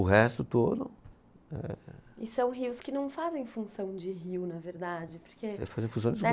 O resto todo, ehh. E são rios que não fazem função de rio, na verdade, porque... Fazem função de esgoto.